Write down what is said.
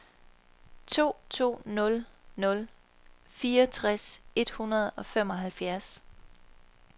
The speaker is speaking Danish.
to to nul nul fireogtres et hundrede og femoghalvfjerds